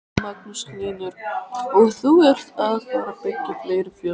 Magnús Hlynur: Og þú ert að fara byggja fleiri fjós?